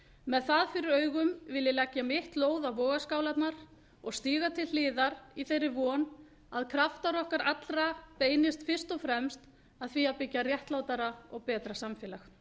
með það fyrir augum vil ég leggja mitt lóð á vogarskálarnar og stíga til hliðar í þeirri von að kraftar okkar allra beinist fyrst og fremst að því að byggja upp réttlátara og betra samfélag